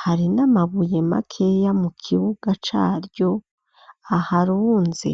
,hari n'amabuye makeya mu kibuga caryo aharunze.